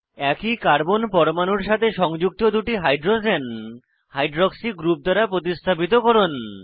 একই কার্বন পরমাণুর সাথে সংযুক্ত দুটি হাইড্রোজেন হাইড্রক্সি গ্রুপ দ্বারা প্রতিস্থাপিত করুন